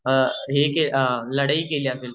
अ हे क लढाया केल्या